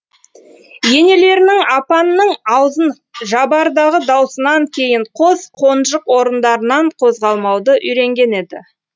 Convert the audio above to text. енелерінің апанның аузын жабардағы даусынан кейін қос қонжық орындарынан қозғалмауды үйренген еді